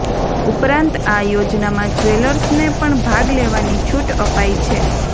ઉપરાંત આ યોજનામાં જવેલર્સને પણ ભાગ લેવાની છૂટ અપાઈ છે